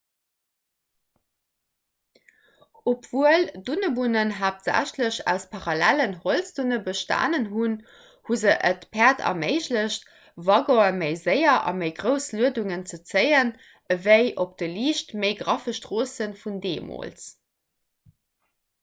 obwuel dunnebunnen haaptsächlech aus parallellen holzdunne bestanen hunn hu se et päerd erméiglecht waggone méi séier a méi grouss luedungen ze zéien ewéi op de liicht méi graffe stroosse vun deemools